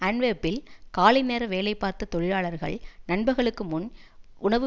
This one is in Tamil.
அன்ட்வேர்ப்பில் காலை நேர வேலை பார்த்த தொழிலாளர்கள் நண்பகலுக்கு முன் உணவு